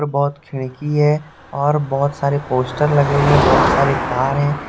बहुत खिड़की है और बहुत सारे पोस्टर लगे हुए हैं बहुत सारे तार हैं।